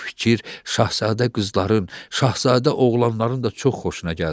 Bu fikir şahzadə qızların, şahzadə oğlanların da çox xoşuna gəldi.